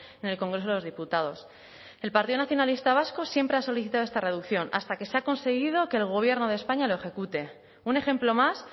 en el congreso de los diputados el partido nacionalista vasco siempre ha solicitado esta reducción hasta que se ha conseguido que el gobierno de españa lo ejecute un ejemplo más